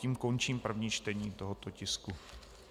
Tím končím první čtení tohoto tisku.